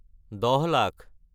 দহ লাখ